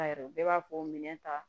A yɛrɛ bɛɛ b'a fɔ minɛn ta